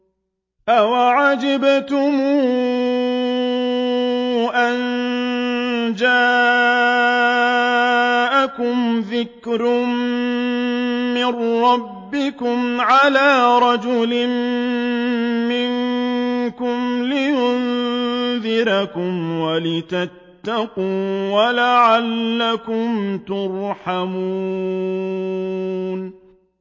أَوَعَجِبْتُمْ أَن جَاءَكُمْ ذِكْرٌ مِّن رَّبِّكُمْ عَلَىٰ رَجُلٍ مِّنكُمْ لِيُنذِرَكُمْ وَلِتَتَّقُوا وَلَعَلَّكُمْ تُرْحَمُونَ